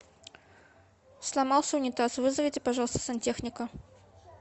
сломался унитаз вызовите пожалуйста сантехника